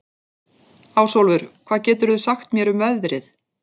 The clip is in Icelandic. Ásólfur, hvað geturðu sagt mér um veðrið?